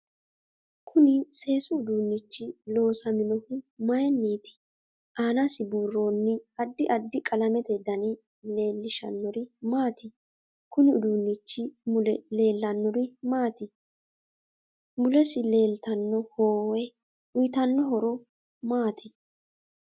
Kuni seesu uduunichi loosaminohu mayiiniti aanasi buurooni addi addi qalamete dani leelishanori maati konni uduunichi mule leelanori maati mulesi leeltanno hoowe uyiitanno horo maati